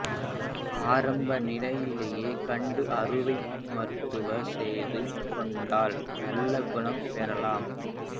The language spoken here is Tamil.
ஆரம்ப நிலையிலேயே கண்டு அறுவை மருத்துவம் செய்து கொண்டால் நல்ல குணம் பெறலாம்